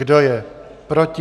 Kdo je proti?